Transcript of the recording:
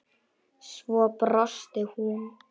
Svo brosti hún.